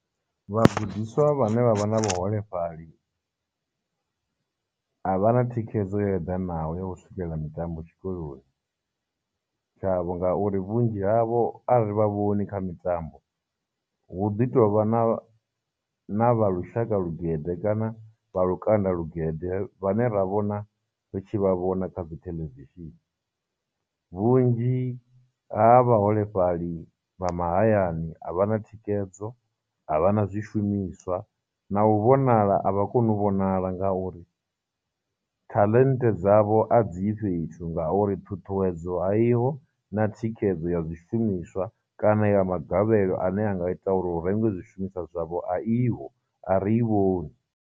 Vhagudiswa vhane vha vha na vhuholefhali a vha na thikhedzo yo eḓanaho ya u swikelela mitambo tshikoloni tshavho, ngauri vhunzhi havho a ri vha vhoni kha mitambo, hu ḓi tovha na na vha lushaka lugede kana vha lukanda lugede vhane ra vhona ri tshi vha vhona kha dzitheḽevishini. Vhunzhi ha vhaholefhali vha mahayani a vhana thikhedzo, a vhana zwishumiswa, na u vhonala a vha koni u vhonala ngauri talent dzavho a dzi yi fhethu ngauri ṱhuṱhuwedzo ayiho na thikhedzo ya zwishumiswa kana ya magavhelo ane a nga ita uri hu rengwe zwishumiswa zwavho a i ho, a ri i vhoni.